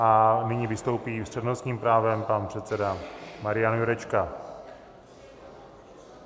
A nyní vystoupí s přednostním právem pan předseda Marian Jurečka.